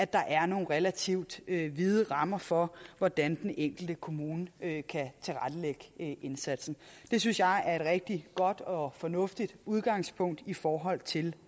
der er nogle relativt vide rammer for hvordan den enkelte kommune kan kan tilrettelægge indsatsen det synes jeg er et rigtig godt og fornuftigt udgangspunkt i forhold til